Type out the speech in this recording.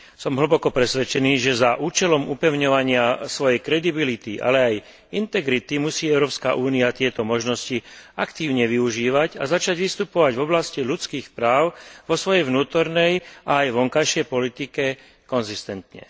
Som hlboko presvedčený, že za účelom upevňovania svojej kredibility, ale aj integrity musí Európska únia tieto možnosti aktívne využívať a začať vystupovať v oblasti ľudských práv vo svojej vnútornej aj vonkajšej politike konzistentne.